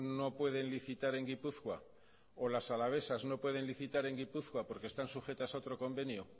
no pueden licitar en gipuzkoa o las alavesas no pueden licitar en gipuzkoa porque están sujetas a otro convenio